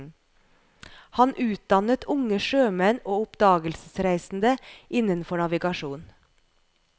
Han utdannet unge sjømenn og oppdagelsesreisende innenfor navigasjon.